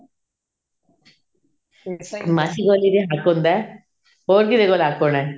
ਮਾਸੀ ਤੇ ਹੱਕ ਹੁੰਦਾ ਹੋਰ ਕਿਹਦੇ ਕੋਲ ਹੱਕ ਹੋਣਾ